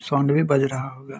Sound भी बज रहा होगा।